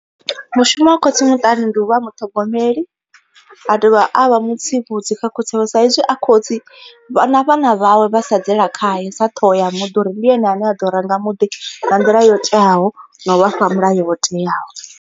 Mushumo wa khotsi muṱani ndi u vha muṱhogomeli, a dovha a vha mu tsivhudzi kha khotsi avho sa izwi a khotsi vha na vhana vhawe vha sedzela khaye sa ṱhoho ya muḓi. Uri ndi ene ane a ḓo ranga muḓi nga nḓila yo teaho na u vhafha mulayo wo teaho.